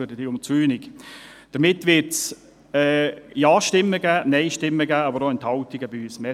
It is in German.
Damit wird es von unserer Seite sowohl Ja- als auch Nein-Stimmen und Enthaltungen geben.